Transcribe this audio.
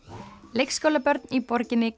leikskólabörn í borginni